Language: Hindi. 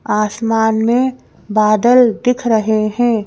आसमान में बादल दिख रहे हैं।